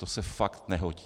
To se fakt nehodí.